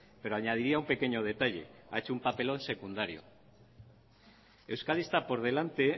pero añadiría un pequeño detalle ha hecho un papelón secundario euskadi está por delante